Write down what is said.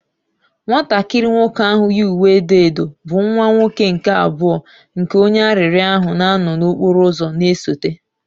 Nwatakịrị nwoke ahụ yi uwe edo edo, bụ nwa nwoke nke abụọ nke onye arịrịọ ahụ na-anọ n'okporo ụzọ na-esote